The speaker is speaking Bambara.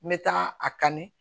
N bɛ taa a kanni